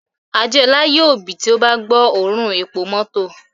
Adeola yoo bì ti o ba gbo oorun epo mọto